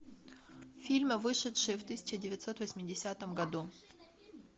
фильмы вышедшие в тысяча девятьсот восьмидесятом году